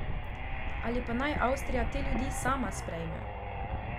Ali pa naj Avstrija te ljudi sama sprejme.